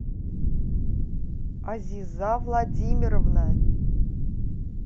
азиза владимировна